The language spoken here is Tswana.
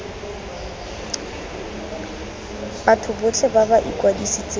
batho botlhe ba ba ikwadisitseng